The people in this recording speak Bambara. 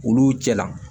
Olu cɛla